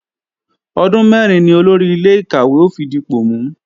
Ọdún mẹ́rin ni Olórí ilé-ìkàwé ó fi dipò mú